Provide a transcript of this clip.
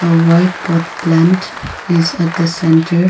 uh whiteboard plant is at the center.